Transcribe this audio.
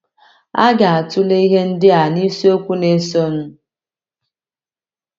A ga - atụle ihe ndị a n’isiokwu na - esonụ..